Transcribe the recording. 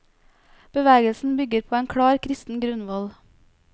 Bevegelsen bygger på en klar kristen grunnvoll.